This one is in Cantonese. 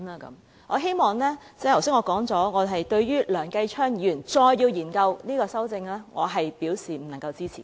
因此，正如我剛才所說，對於梁繼昌議員提出要繼續研究的修正案，我是不會予以支持的。